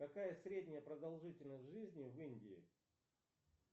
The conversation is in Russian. какая средняя продолжительность жизни в индии